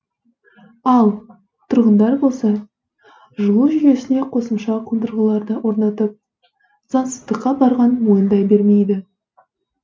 ал тұрғындар болса жылу жүйесіне қосымша қондырғыларды орнатып заңсыздыққа барғанын мойындай бермейді